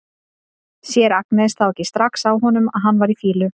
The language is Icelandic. Sér Agnes þá ekki strax á honum að hann var í fýlu?